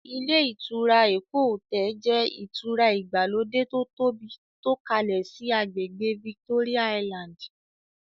Ilé ìtura "Eko Hotel" jẹ́ ìtura ìgbàlódé to tóbi tó kalẹ síí àgbègbè "Victoria Island".